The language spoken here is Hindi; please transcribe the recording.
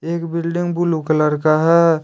एक बिल्डिंग ब्लू कलर का है।